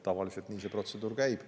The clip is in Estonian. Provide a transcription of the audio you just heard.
Tavaliselt nii see protseduur käib.